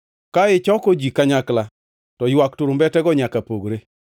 Ka ichoko ji kanyakla, to ywak turumbetego nyaka pogre.